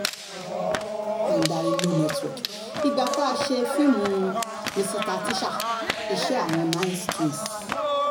mandarin no network ìgbà tá a ṣe fíìmù míṣítà tíṣà iṣẹ́ àwọn nice twins